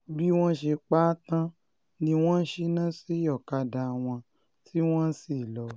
bí wọ́n ṣe pa á tán ni wọ́n ṣínà sí ọ̀kadà wọn tí wọ́n lọ